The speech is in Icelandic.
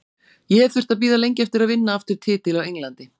Ég hef þurft að bíða lengi eftir að vinna aftur titil á Englandi.